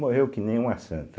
Morreu que nem uma santa.